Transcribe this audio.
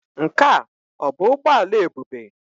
Nke a ọ bụ ụgbọ ala Ebube?